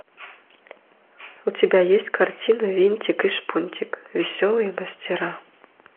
у тебя есть картина винтик и шпунтик веселые мастера